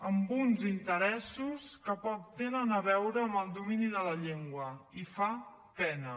amb uns interessos que poc tenen a veure amb el domini de la llengua i fa pena